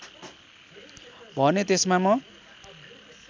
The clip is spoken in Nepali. भने त्यसमा म